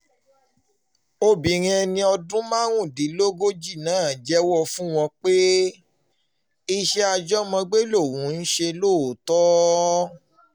obìnrin ẹni ọdún márùndínlógójì náà jẹ́wọ́ fún wọn pé iṣẹ́ àjọmọ̀gbé lòun ń ṣe lóòótọ́